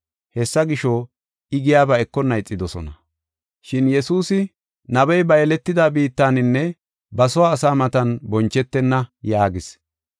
Hessa gisho, I giyaba ekonna ixidosona. Shin Yesuusi, “Nabey ba yeletida biittaninne ba soo asaa matan bonchetenna” yaagis.